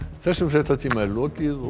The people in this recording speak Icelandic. þessum fréttatíma er lokið og